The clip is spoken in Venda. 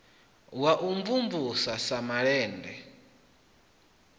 wa u mvumvusa sa malende